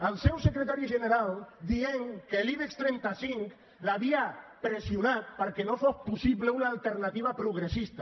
el seu secretari general dient que l’ibex trenta cinc l’havia pressionat perquè no fos possible una alternativa progressista